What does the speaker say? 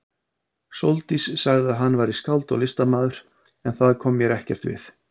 Sóldís sagði að hann væri skáld og listamaður, en það kom mér ekkert við.